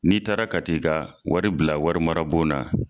N'i taara ka t'i ka wari bila wari mara bon na